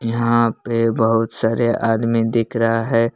यहां पे बहुत सारे आदमी दिख रहा है।